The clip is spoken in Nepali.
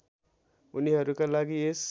उनीहरूका लागि यस